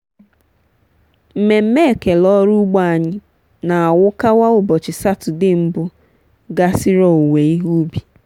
mmemme ekele ọrụ ugbo anyị na-awukawa ụbọchi satọde mbụ gasịrị owuwe ihe ubi.